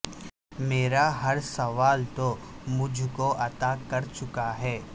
میرا ہر سوال تو مجھ کو عطا کرچکا ہو